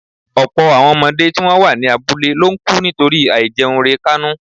ọ̀pọ̀ àwọn ọmọdé tí wọ́n wà ní abúlé ló ń kú nítorí àìjẹunrekánú